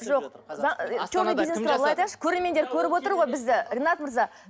жоқ черный бизнес туралы айтайықшы көрермендер көріп отыр ғой бізді ринат мырза